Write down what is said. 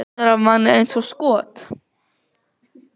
Það rennur af manni eins og skot.